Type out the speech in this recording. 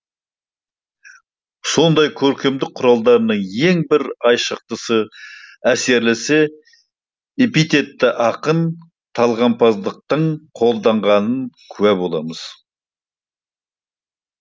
сондай көркемдік құралдарының ең бір айшықтысы әсерлісі эпитетті ақын талғампаздықтың қолданғандығын куә боламыз